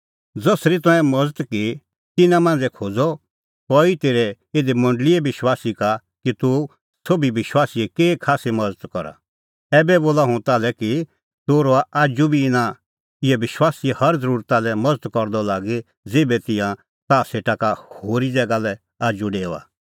ज़सरी तंऐं मज़त की तिन्नां मांझ़ै खोज़अ कई खोज़अ तेरै इधी मंडल़ीए विश्वासी का कि तूह संघी विश्वासीए केही खास्सी मज़त करा ऐबै बोला हुंह ताल्है कि तूह रहअ आजू बी इना इहै विश्वासीए हर ज़रुरता लै मज़त करदअ लागी ज़ेभै तिंयां ताह सेटा का होरी ज़ैगा लै आजू डेओआ किल्हैकि एता करै हआ परमेशर खुश